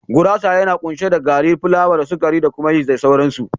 Gurasa yana kunshe da gari plawa da sukari tare da yisti da sauransu.